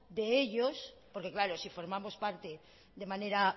de ellos porque claro si formamos parte de manera